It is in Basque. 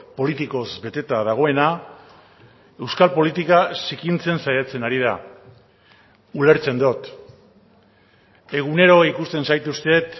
politikoz beteta dagoena euskal politika zikintzen saiatzen ari da ulertzen dut egunero ikusten zaituztet